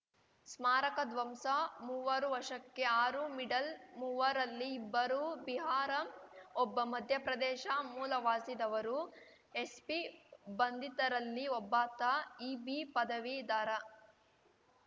ಸ್ಮಾರಕ ಧ್ವಂಸ ಮೂವರು ವಶಕ್ಕೆ ಆರು ಮಿಡಲ್‌ ಮೂವರಲ್ಲಿ ಇಬ್ಬರು ಬಿಹಾರ ಒಬ್ಬ ಮಧ್ಯಪ್ರದೇಶ ಮೂಲವಾಸಿದವರು ಎಸ್ಪಿ ಬಂಧಿತರಲ್ಲಿ ಒಬ್ಬಾತ ಇಬಿ ಪದವೀಧರ